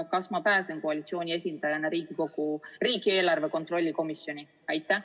Kas ma pääsen koalitsiooni esindajana riigieelarve kontrolli komisjoni?